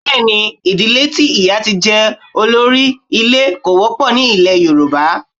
Bẹ́ẹ̀ ni, ìdílé tí ìyá tí jẹ́ olórí ilé kò wọ́pọ̀ ní ilẹ̀ Yorùbá.